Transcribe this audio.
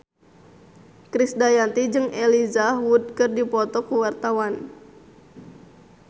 Krisdayanti jeung Elijah Wood keur dipoto ku wartawan